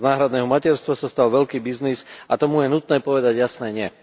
Z náhradného materstva sa stal veľký biznis a tomu je nutné povedať jasné nie.